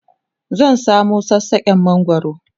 zan samu sassaken mangwaro